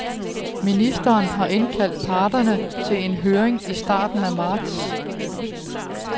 Ministeren har indkaldt parterne til en høring i starten af marts.